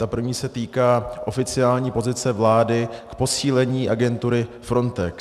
Ta první se týká oficiální pozice vlády k posílení agentury Frontex.